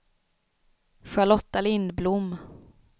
Charlotta Lindblom